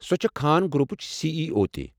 سۄ چھےٚ خان گرُپٕچ سی ای او تہِ۔